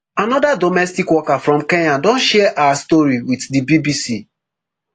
anoda domestic worker from kenya don share her story wit di bbc